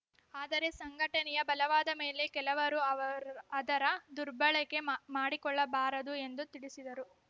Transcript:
ಆದರೆ ಸಂಘಟನೆಯ ಬಲವಾದ ಮೇಲೆ ಕೆಲವರು ಅದರ ದುರ್ಬಳಕೆ ಮಾಡಿಕೊಳ್ಳಬಾರದು ಎಂದು ತಿಳಿಸಿದರು